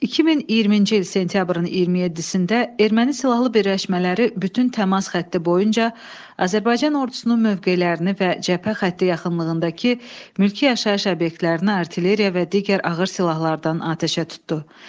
2020-ci il sentyabrın 27-də Ermənistan silahlı birləşmələri bütün təmas xətti boyunca Azərbaycan ordusunun mövqelərini və cəbhə xətti yaxınlığındakı mülki yaşayış obyektlərinə artilleriya və digər ağır silahlardan atəşə tutdu.